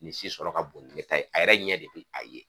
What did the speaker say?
Nin si sɔrɔ ka bon ni ne ta ye a yɛrɛ ɲɛ de be a ye.